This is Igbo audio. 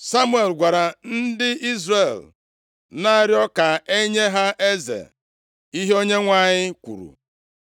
Samuel gwara ndị Izrel na-arịọ ka e nye ha eze ihe Onyenwe anyị kwuru.